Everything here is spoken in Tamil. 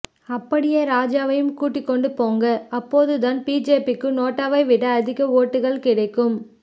அப்படியே ராஜாவையும் கூட்டிக்கொண்டு போங்க அப்போ தான் பிஜேபி க்கு நோட்டாவைவிட அதிக ஓட்டுகள் கிடைக்கும்